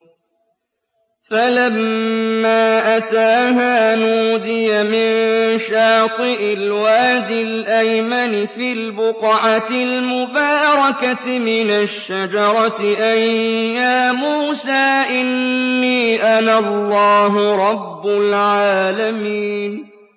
فَلَمَّا أَتَاهَا نُودِيَ مِن شَاطِئِ الْوَادِ الْأَيْمَنِ فِي الْبُقْعَةِ الْمُبَارَكَةِ مِنَ الشَّجَرَةِ أَن يَا مُوسَىٰ إِنِّي أَنَا اللَّهُ رَبُّ الْعَالَمِينَ